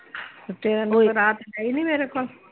ਤੇ ਤੇਰਾ ਨੰਬਰ ਆ ਤੇ ਹੈ ਈ ਨੀ ਮੇਰੇ ਕੋਲ।